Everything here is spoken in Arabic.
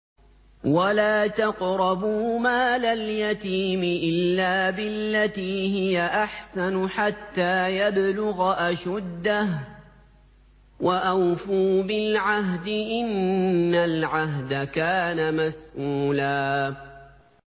وَلَا تَقْرَبُوا مَالَ الْيَتِيمِ إِلَّا بِالَّتِي هِيَ أَحْسَنُ حَتَّىٰ يَبْلُغَ أَشُدَّهُ ۚ وَأَوْفُوا بِالْعَهْدِ ۖ إِنَّ الْعَهْدَ كَانَ مَسْئُولًا